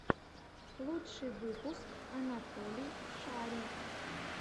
лучший выпуск анатолий шарий